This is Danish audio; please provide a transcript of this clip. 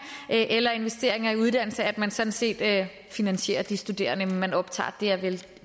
eller investeringer i uddannelse at man sådan set finansierer de studerende man optager det er vel